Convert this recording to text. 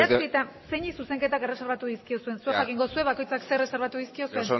zeini zuzenketak erreserbatu dizkiozuen zuek jakingo duzue bakoitzak zer erreserbatu dizkiozuen